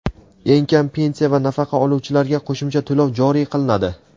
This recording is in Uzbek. Eng kam pensiya va nafaqa oluvchilarga qo‘shimcha to‘lov joriy qilinadi.